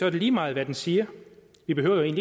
er lige meget hvad den siger vi behøver jo